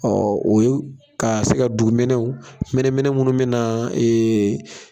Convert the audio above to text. o ye ka se ka dugumɛnɛw, mɛnɛmɛnɛ minnu bɛ na